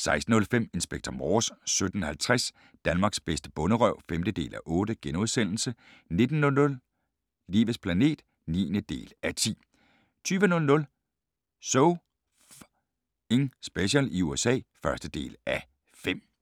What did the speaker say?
16:05: Inspector Morse 17:50: Danmarks bedste bonderøv (5:8)* 19:00: Livets planet (9:10) 20:00: So F***ing Special i USA (1:5)